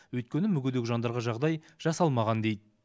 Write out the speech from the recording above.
өйткені мүгедек жандарға жағдай жасалмаған дейді